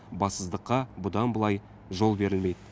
бассыздыққа бұдан былай жол берілмейді